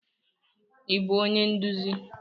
Ị bụ onye nduzi?